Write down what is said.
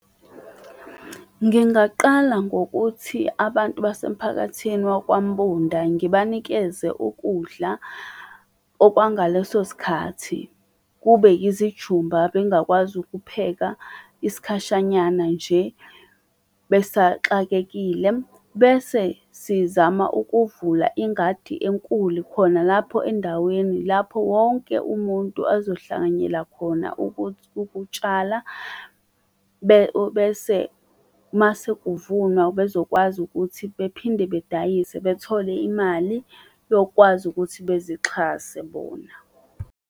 Ngingaqala ngokuthi abantu basemphakathini waKwaMbunda ngibanikeze ukudla okwangaleso sikhathi, kube yizijumba bengakwazi ukupheka isikhashanyana nje besaxakekile. Bese sizama ukuvula ingadi enkulu khona lapho endaweni lapho wonke umuntu azohlanganyela khona ukuthi ukutshala bese uma sekuvunwa bezokwazi ukuthi bephinde bedayise bethole imali yokukwazi ukuthi bezixhase bona.